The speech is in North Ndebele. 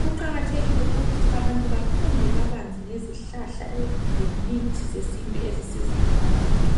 Kuqakathekile ukuthi abantu bafunde kabanzi ngezihlahla lemithi zesintu ezisizayo abantu.